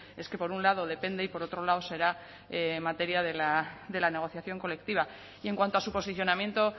es que por un lado depende y por otro lado será materia de la negociación colectiva y en cuanto a su posicionamiento